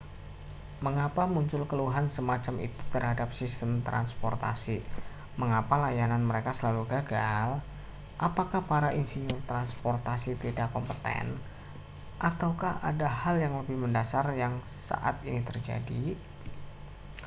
mengapa muncul keluhan semacam itu terhadap sistem transportasi mengapa layanan mereka selalu gagal apakah para insinyur transportasi tidak kompeten ataukah ada hal yang lebih mendasar yang saat ini terjadi